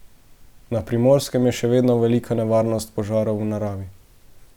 Na Primorskem je še vedno velika nevarnost požarov v naravi.